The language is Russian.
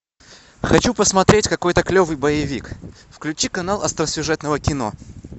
хочу посмотреть какой то клевый боевик включи канал остросюжетного кино